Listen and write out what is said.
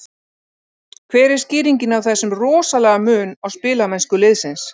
Hver er skýringin á þessum rosalega mun á spilamennsku liðsins?